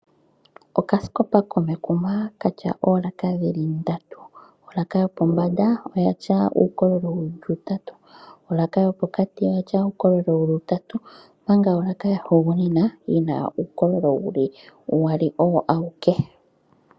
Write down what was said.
Okaskopa komekuma kena oolaka dhili ndatu. Olaaka yopombanda oyina uukololo wuli utatu, olaaka yopokati oyina woo uukololo wuli utatu omanga olaaka yahugunina oyina uukololo wuli uwali owo awike.